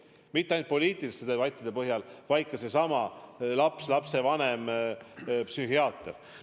Ja mitte ainult poliitilised debatid, vaid ka needsamad lapsi, lastevanemaid ja psühhiaatreid puudutavad probleemid.